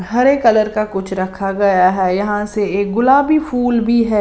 हरे colour का कुछ रखा गया है यहां से एक गुलाबी फूल भी है।